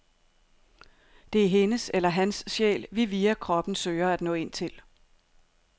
Det er hendes eller hans sjæl, vi via kroppen søger at nå ind til.